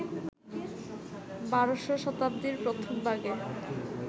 ১২শ শতাব্দীর প্রথমভাগে,